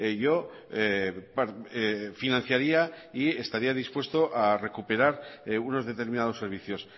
yo financiaría y estaría dispuesto a recuperar unos determinados servicios